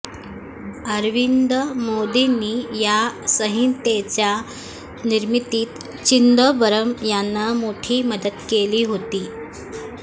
अरविंद मोदींनी या संहितेच्या निर्मितीत चिदंबरम यांना मोठी मदत केली होती